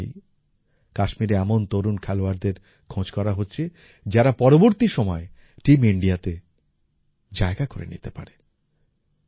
এর মধ্যে দিয়েই কাশ্মীরে এমন তরুণ খেলোয়াড়দের খোঁজ করা হচ্ছে যারা পরবর্তী সময়ে টিম ইন্ডিয়াতে জায়গা করে নিতে পারে